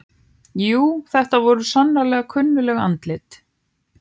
Jú, þetta voru svo sannarlega kunnugleg andlit.